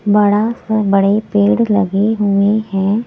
बड़ा से बड़े पेड़ लगे हुए हैं।